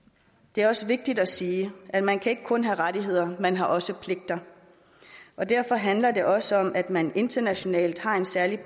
det er også vigtigt at sige at man ikke kun kan have rettigheder man har også pligter og derfor handler det også om at man internationalt har en særlig